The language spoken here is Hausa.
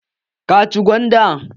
Ka ci gwandan?